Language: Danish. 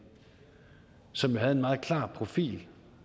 som havde en meget klar profil